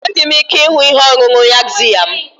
Enweghị m ike ịhụ ihe ọṅụṅụ yaxiya m.